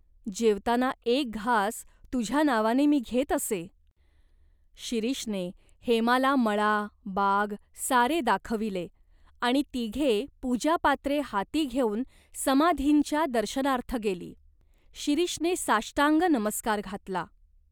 जेवताना एक घास तुझ्या नावाने मी घेत असे." शिरीषने हेमाला मळा, बाग सारे दाखविले आणि तिघे पूजापात्रे हाती घेऊन समाधींच्या दर्शनार्थ गेली. शिरीषने साष्टांग नमस्कार घातला.